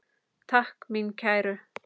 Takk mín kæru.